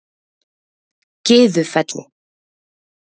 Gyðufelli